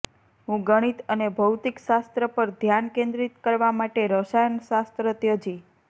હું ગણિત અને ભૌતિકશાસ્ત્ર પર ધ્યાન કેન્દ્રિત કરવા માટે રસાયણશાસ્ત્ર ત્યજી